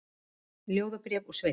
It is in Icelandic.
Ljóðabréf úr sveitinni